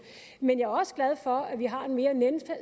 men jeg er også glad for at vi har en mere